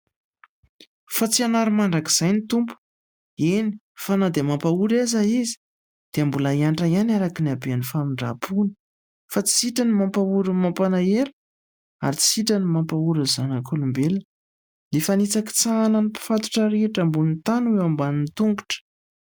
Fa tsy hanary mandrakizay ny Tompo, eny fa na dia mampahory aza Izy dia mbola hiantra ihany araka ny haben'ny famindrampony fa tsy sitrany ny mampahory ny mampalahelo ary tsy sitrany ny mampahory zanak'olombelona. Ny fanitsakitsahana ny mpifatotra rehetra ambonin'ny tany ho eo ambanin'ny tongotra.